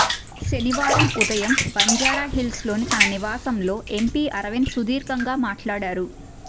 శనివారం ఉదయం బంజారాహిల్స్లోని తన నివాసంలో ఎంపీ అరవింద్ సుధీర్గంగా మాట్లాడారు